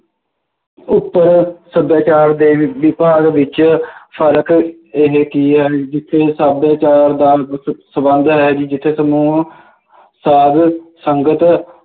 ਉੱਪਰ ਸੱਭਿਆਚਾਰ ਦੇ ਵਿਭਾਗ ਵਿੱਚ ਫਰਕ ਇਹ ਕੀ ਹੈ ਜਿੱਥੇ ਸੱਭਿਆਚਾਰ ਦਾ ਸੰਬੰਧ ਹੈ ਜੀ ਜਿੱਥੇ ਸਮੂਹ ਸਾਧ ਸੰਗਤ